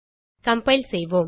compile செய்வோம்